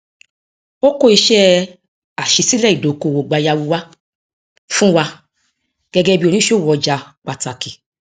ó kó iṣẹ aṣísílẹ ìdókòwò gbayau wá fún wa gẹgẹ bí oníṣòwò ọjà pàtàkì